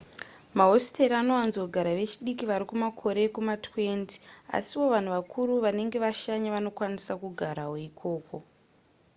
mahositeri anowanzogara vechidiki vari mumakore ekuma20 asiwo vanhu vakura vanenge vashanya vanokwanisa kugarawo ikoko